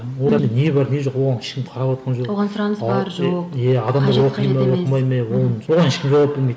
одан не бар не жоқ оған ешкім қараватқан жоқ оған сұраныс бар жоқ оған ешкім жауап бермейді